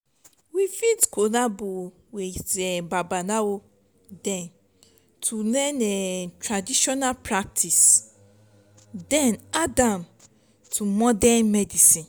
we fit collabo with babalawo dem to learn um traditional practice then add am to modern medicine